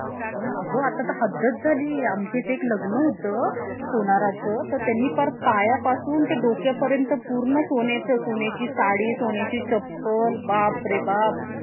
पंचवीस वेळा fail होऊन try करू शकतो